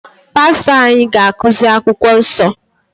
Pastọ anyị ga-akụzi akwụkwọ nsọ